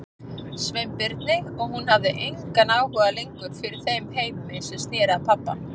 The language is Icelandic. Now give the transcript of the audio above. Sveinbirni og hún hafði engan áhuga lengur fyrir þeim heimi sem sneri að pabba.